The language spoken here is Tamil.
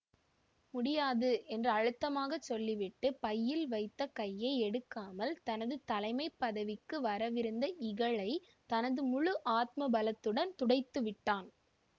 முடியாது என்று அழுத்தமாகச் சொல்லிவிட்டு பையில் வைத்த கையை எடுக்காமல் தனது தலைமை பதவிக்கு வரவிருந்த இகழை தனது முழு ஆத்ம பலத்துடனும் துடைத்துவிட்டான்